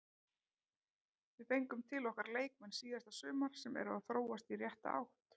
Við fengum til okkar leikmenn síðasta sumar sem eru að þróast í rétta átt.